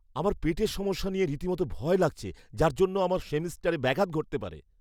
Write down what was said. আমার পেটের সমস্যা নিয়ে রীতিমতো ভয় লাগছে যার জন্য আমার সেমেস্টারে ব্যাঘাত ঘটতে পারে।